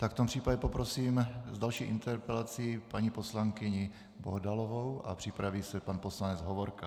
V tom případě poprosím s další interpelací paní poslankyni Bohdalovou a připraví se pan poslanec Hovorka.